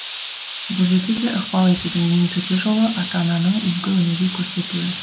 бұл жерде де ықпал етудің ең төте жолы ата ананың үлгі өнеге көрсетуі